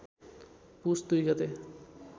पुस २ गते